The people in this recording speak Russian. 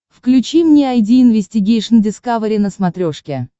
включи мне айди инвестигейшн дискавери на смотрешке